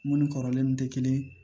Mun ni kɔrɔlen te kelen ye